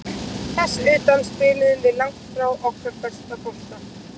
Þess utan spiluðum við langt í frá okkar besta bolta.